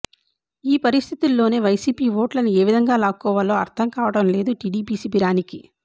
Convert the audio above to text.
ఈ పరిస్ధితుల్లోనే వైసీపీ ఓట్లను ఏ విధంగా లాక్కోవాలో అర్ధం కావటం లేదు టిడిపి శిబిరానికి